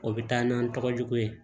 O bɛ taa n'an tɔgɔ jugu ye